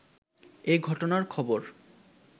এ ঘটনার খবর